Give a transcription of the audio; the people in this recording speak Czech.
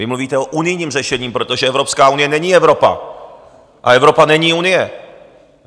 Vy mluvíte o unijním řešení, protože Evropská unie není Evropa a Evropa není Unie.